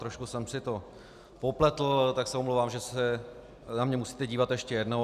Trošku jsem si to popletl, tak se omlouvám, že se na mě musíte dívat ještě jednou.